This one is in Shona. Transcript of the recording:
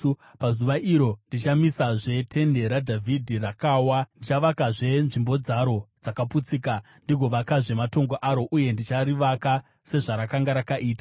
“Pazuva iro ndichamisazve tende raDhavhidhi rakawa. Ndichavakazve nzvimbo dzaro dzakaputsika, ndigovakazve matongo aro, uye ndicharivaka sezvarakanga rakaita,